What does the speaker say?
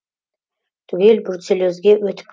түгел бруцеллезге өтіп